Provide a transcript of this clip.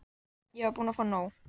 Ég var búin að fá nóg.